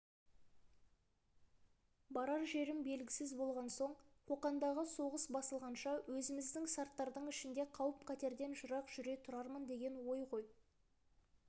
барар жерім белгісіз болған соң қоқандағы соғыс басылғанша өзіміздің сарттардың ішінде қауіп-қатерден жырақ жүре тұрармын деген ой ғой